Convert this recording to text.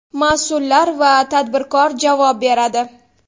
Mas’ullar va tadbirkor javob beradi.